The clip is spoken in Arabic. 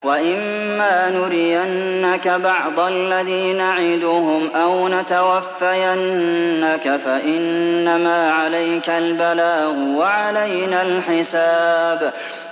وَإِن مَّا نُرِيَنَّكَ بَعْضَ الَّذِي نَعِدُهُمْ أَوْ نَتَوَفَّيَنَّكَ فَإِنَّمَا عَلَيْكَ الْبَلَاغُ وَعَلَيْنَا الْحِسَابُ